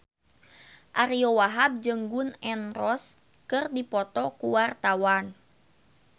Ariyo Wahab jeung Gun N Roses keur dipoto ku wartawan